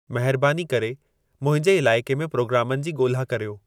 महिरबानी करे मुंहिंजे इलाइक़े में प्रोगामनि जी ॻोल्हा कर्यो